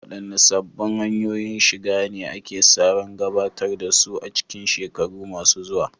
Waɗanne sabbin hanyoyin shiga ne ake sa ran gabatar da su a cikin shekaru masu zuwa?